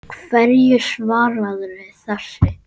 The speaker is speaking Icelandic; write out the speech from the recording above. Hverju svararðu þessu?